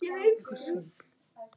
Ég sótti það mjög fast.